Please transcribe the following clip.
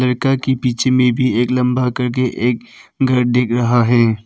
लड़का के पीछे में भी एक लंबा एक घर दिख रहा है।